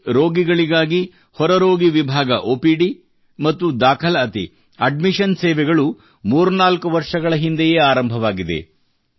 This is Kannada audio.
ಇಲ್ಲಿ ರೋಗಿಗಳಿಗಾಗಿ ಹೊರರೋಗಿ ವಿಭಾಗ ಒಪಿಡಿ ಮತ್ತು ದಾಖಲಾತಿ ಅಡ್ಮಿಷನ್ ಸೇವೆಗಳು ಮೂರ್ನಾಲ್ಕು ವರ್ಷಗಳ ಹಿಂದೆಯೇ ಆರಂಭವಾಗಿದೆ